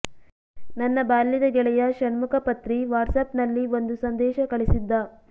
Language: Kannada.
ನನ್ನ ಬಾಲ್ಯದ ಗೆಳೆಯ ಷಣ್ಮುಖ ಪತ್ರಿ ವಾಟ್ಸ್ಆ್ಯಪ್ನಲ್ಲಿ ಒಂದು ಸಂದೇಶ ಕಳಿಸಿದ್ದ